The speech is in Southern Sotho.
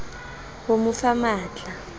ho mo fa matl a